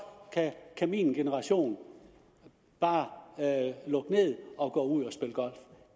kan min generation bare lukke ned og gå ud og spille golf